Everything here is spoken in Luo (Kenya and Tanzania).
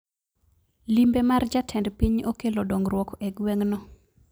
Limbe mar jatend piny okelo dongruok e gweng no